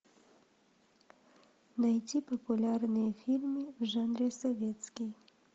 найти популярные фильмы в жанре советский